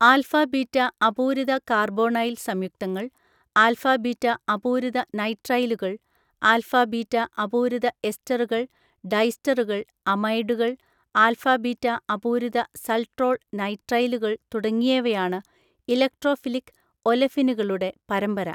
Alpha beta അപൂരിത carbonyl സംയുക്തങ്ങൾ alpha beta അപൂരിത നൈട്രൈലുകൾ ആൽഫ ബീറ്റ അപൂരിത എസ്റ്ററുകൾ ഡൈസ്റ്ററുകൾ അമൈഡുകൾ ആൽഫ ബീറ്റ അപൂരിത സൾട്രോൾ നൈട്രൈലുകൾ തുടങ്ങിയവയാണ് ഇലക്ട്രോഫിലിക് ഒലെഫിനുകളുടെ പരമ്പര.